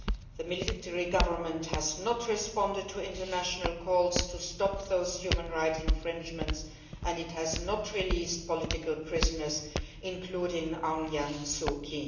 The military government has not responded to international calls to stop those human rights infringements and it has not released political prisoners, including Aung San Suu Kyi.